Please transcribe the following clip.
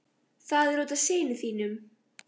Það er út af syni þínum.